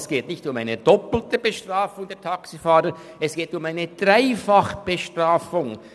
Es geht nicht um eine doppelte Bestrafung der Taxifahrer, es geht um eine Dreifachbestrafung!